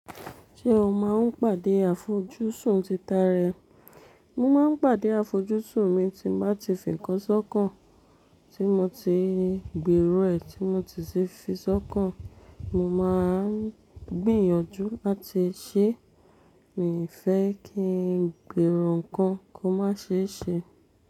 Ṣé o máa ń pàdé àfojúsùn títà ara ẹ? Mo máa ń pàdé àfojúsùn mi tí mo bá ti fi nǹkan sọ́kàn, tí mo ti gbèrò rẹ, tí mo ti sì fi sọ́kàn. Mo máa ń gbìyànjú láti ṣé. Mi ò fẹ́ kí n gbèrò nǹkan kó má ṣe é ṣe.